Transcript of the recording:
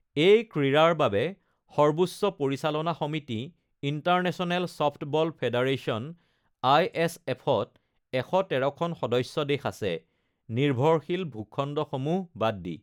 এই ক্ৰীড়াৰ বাবে সৰ্বোচ্চ পৰিচালনা সমিতি ইণ্টাৰনেচনেল চফ্টব'ল ফেডাৰেচন (আইএছএফ)ত ১১৩ খন সদস্য দেশ আছে (নিৰ্ভৰশীল ভূখণ্ডসমূহ বাদ দি)।